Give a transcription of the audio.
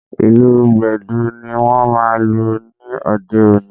Ìlù Gbẹ̀du ni wọ́n máa lù ní òde òní